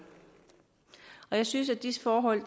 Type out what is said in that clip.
jeg synes at disse forhold